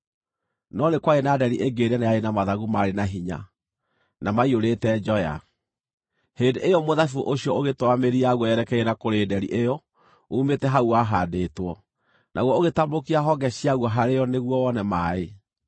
“ ‘No nĩ kwarĩ na nderi ĩngĩ nene yarĩ na mathagu maarĩ na hinya, na maiyũrĩte njoya. Hĩndĩ ĩyo mũthabibũ ũcio ũgĩtwara mĩri yaguo yerekeire na kũrĩ nderi ĩyo uumĩte hau wahaandĩtwo, naguo ũgĩtambũrũkia honge ciaguo harĩ yo nĩguo wone maaĩ.